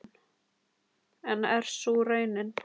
En er sú raunin?